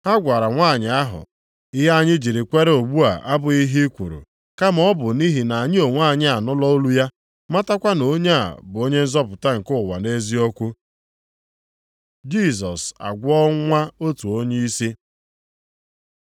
Ha gwara nwanyị ahụ, “Ihe anyị jiri kwere ugbu a abụghị ihe i kwuru, kama ọ bụ nʼihi na anyị onwe anyị anụla olu ya, matakwa na onye a bụ Onye nzọpụta nke ụwa nʼeziokwu.” Jisọs agwọọ nwa otu onyeisi